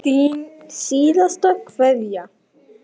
Þín síðasta kveðja.